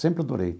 Sempre adorei.